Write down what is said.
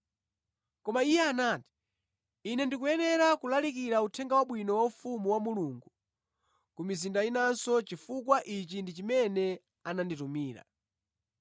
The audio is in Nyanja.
Koma Iye anati, “Ine ndikuyenera kulalikira Uthenga Wabwino wa ufumu wa Mulungu ku mizinda inanso chifukwa ichi ndi chimene ananditumira.”